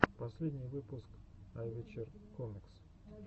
последний выпуск айвэчер комикс